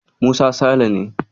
Musa Sale ne.